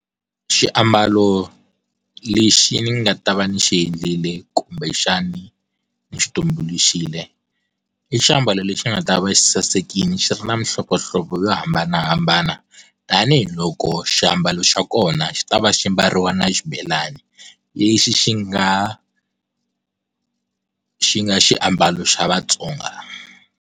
Xiambalo lexi ndzi nga ta va ni xi endlile kumbexani ni xi tumbuluxile i xiambalo lexi nga ta va xi sasekile xi ri na mihlovohlovo yo hambanahambana tanihiloko xi ambalo xa kona xi ta va xi mbariwa na xibelani lexi xi nga xi nga swiambalo xa Vatsonga.